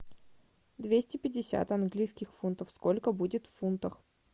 двести пятьдесят английских фунтов сколько будет в фунтах